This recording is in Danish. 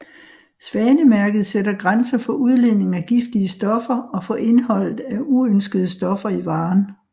Svanemærket sætter grænser for udledning af giftige stoffer og for indholdet af uønskede stoffer i varen